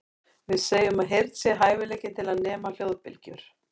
Við segjum að heyrn sé hæfileikinn til að nema hljóðbylgjur.